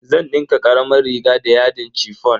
Zan dinka karamar riga da yadin chiffon.